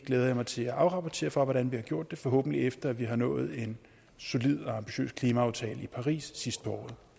glæder mig til at afrapportere hvordan vi har gjort det forhåbentlig efter at vi har nået en solid og ambitiøs klimaaftale i paris sidst på